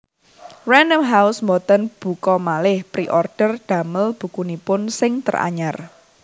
Random House mboten buka maleh preorder damel bukunipun sing teranyar